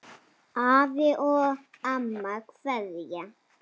Afi og amma kveðja